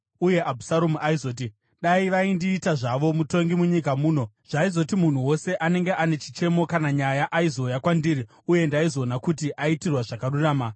Uye Abhusaromu aizoti, “Dai vaindiita zvavo mutongi munyika muno! Zvaizoti munhu wose anenge ane chichemo kana nyaya aizouya kwandiri uye ndaizoona kuti aitirwa zvakarurama.”